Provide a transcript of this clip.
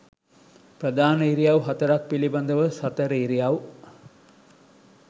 ප්‍රධාන ඉරියව් හතරක් පිළිබඳව සතර ඉරියව්